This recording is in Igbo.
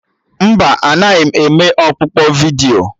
Mba, anaghị m eme ọkpụkpọ vidiyo